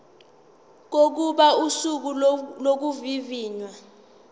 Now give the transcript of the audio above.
kokuba usuku lokuvivinywa